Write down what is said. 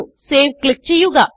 save click ചെയ്യുക